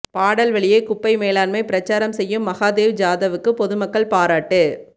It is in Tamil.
பாடல்வழியே குப்பை மேலாண்மை பிரச்சாரம் செய்யும் மகாதேவ் ஜாதவ்வுக்கு பொதுமக்கள் பாராட்டு